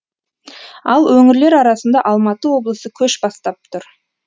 ал өңірлер арасында алматы облысы көш бастап тұр